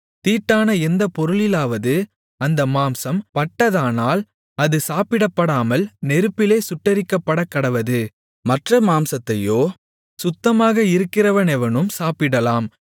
தீட்டான எந்த பொருளிலாவது அந்த மாம்சம் பட்டதானால் அது சாப்பிடப்படாமல் நெருப்பிலே சுட்டெரிக்கப்படக்கடவது மற்ற மாம்சத்தையோ சுத்தமாக இருக்கிறவனெவனும் சாப்பிடலாம்